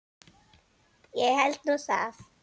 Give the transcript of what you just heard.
Ég held nú það!